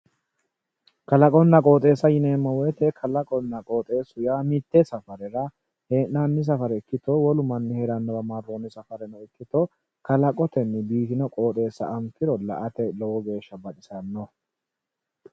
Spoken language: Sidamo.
Kalaqonna qoxxeessa yineemmo woyte kalaqunna qoxxeesu yaa mite safarera hee'nanni safare ikkitto wolu heeranowa safareno ikkitto kalaqotenni injino qoxxessa anfiro la"ate lowo geeshsha baxisano.